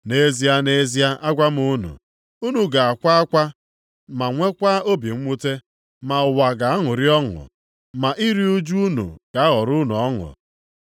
Nʼezie, nʼezie, agwa m unu, unu ga-akwa akwa ma nwekwa obi mwute, ma ụwa ga-aṅụrị ọṅụ. Ma iru ụjụ unu ga-aghọrọ unu ọṅụ.